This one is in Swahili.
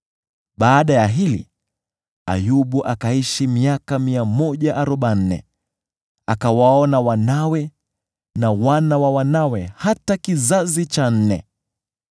Baada ya hili Ayubu akaishi miaka 140; akawaona wanawe na wana wa wanawe hata kizazi cha nne.